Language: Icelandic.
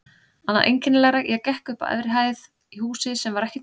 Annað einkennilegra: ég gekk upp á efri hæð í húsi sem var ekki til.